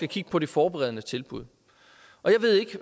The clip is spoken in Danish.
kigge på de forberedende tilbud